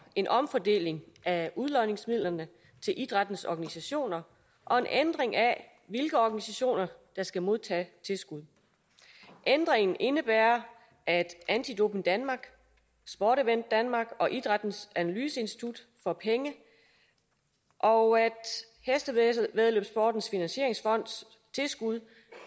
en omfordeling af udlodningsmidlerne til idrættens organisationer og en ændring af hvilke organisationer der skal modtage tilskud ændringen indebærer at anti doping danmark sport event denmark og idrættens analyseinstitut får penge og at hestevæddeløbsportens finansieringsfonds tilskud